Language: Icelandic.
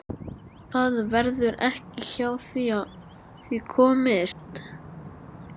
Það verður ekki hjá því komist.